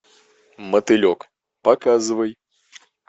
мотылек показывай